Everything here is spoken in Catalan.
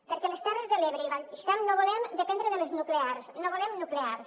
perquè les terres de l’ebre i el baix camp no volem dependre de les nuclears no volem nuclears